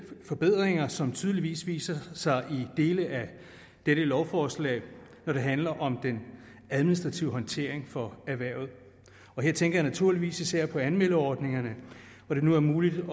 forbedringer som tydeligvis viser sig i dele af dette lovforslag når det handler om den administrative håndtering for erhvervet her tænker jeg naturligvis især på anmeldeordningerne hvor det nu er muligt